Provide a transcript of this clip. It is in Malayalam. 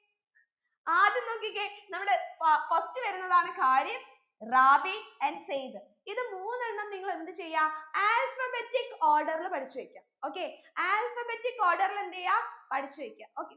ആദ്യം നോക്കിക്കേ നമ്മുടെ ഫാ first വരുന്നതാണ് ഖാരിഫ് റാബി and സയ്ദ് ഇത് മൂന്നെണ്ണം നിങ്ങൾ എന്ത് ചെയ്യാ alphabetic order ൽ പഠിച്ചു വെക്ക okayalphabetic order ൽ എന്തെയ്യ പഠിച്ചു വെക്ക okay